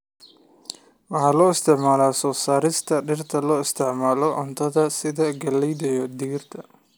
Waxa loo isticmaalaa soo saarista dhirta loo isticmaalo cuntada sida galleyda iyo digirta.